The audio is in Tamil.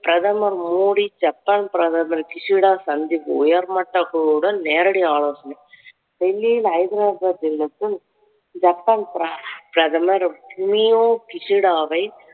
பிரதமர் மோடி ஜப்பான் பிரதமர் கிஷிடா சந்திப்பு உயர்மட்ட குழுவுடன் நேரடி ஆலோசனை. டெல்லியில் ஜப்பான் பிர~ பிரதமர் ஃபுமியோ கிஷிடாவை